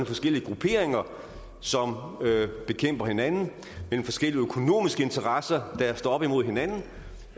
forskellige grupperinger som bekæmper hinanden mellem forskellige økonomiske interesser der står op imod hinanden